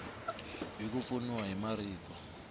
hi ku pfuniwa hi marito